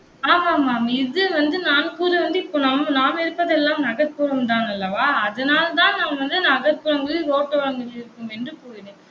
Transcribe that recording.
ஆமா ஆமா இது வந்து நான் கூறுவது வந்து, இப்ப நம்ம நாம் இருப்பதெல்லாம் நகர்ப்புறம்தான் அல்லவா அதனால்தான் நான் வந்து நகர்ப்புறங்களில் ரோட்டோரங்களில் இருக்கும் என்று கூறினேன்